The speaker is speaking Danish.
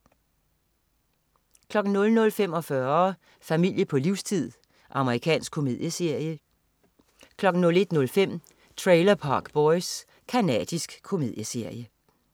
00.45 Familie på livstid. Amerikansk komedieserie 01.05 Trailer Park Boys. Canadisk komedieserie